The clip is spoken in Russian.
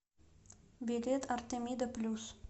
билет артемида плюс